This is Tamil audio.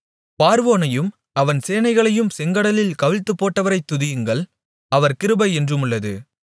பார்வோனையும் அவன் சேனைகளையும் செங்கடலில் கவிழ்த்துப்போட்டவரைத் துதியுங்கள் அவர் கிருபை என்றுமுள்ளது